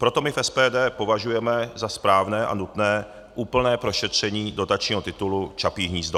Proto my v SPD považujeme za správné a nutné úplné prošetření dotačního titulu Čapí hnízdo.